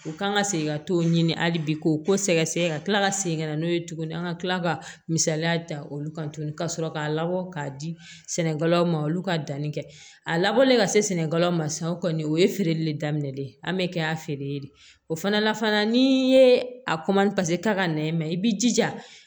U kan ka segin ka t'o ɲini hali bi k'o ko sɛgɛsɛgɛ ka tila ka segin ka na n'o ye tuguni an ka kila ka misaliya ta olu kan tuguni ka sɔrɔ k'a labɔ k'a di sɛnɛkɛlaw ma olu ka danni kɛ a labɔlen ka se sɛnɛkɛlaw ma sisan o kɔni o ye feereli de daminɛlen ye an bɛ kɛ a feere de ye o fana na fana ni ye a ka nɛn i b'i jija